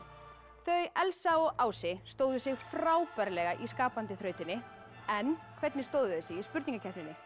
þau Elsa og Ási stóðu sig frábærlega í skapandi þrautinni en hvernig stóðu þau sig í spurningakeppninni